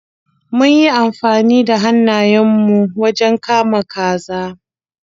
Mun yi amfani da hannayen mu wajen kama kazar.